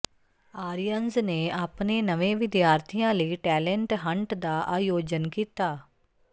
ਆਰੀਅਨਜ਼ ਨੇ ਆਪਣੇ ਨਵੇਂ ਵਿਦਿਆਰਥੀਆਂ ਲਈ ਟੈਂਲੇਟ ਹੰਟ ਦਾ ਆਯੋਜਨ ਕੀਤਾ